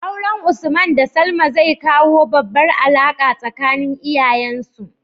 Auren usman da salma zai kawo babbar alaka tsakanin iyayen su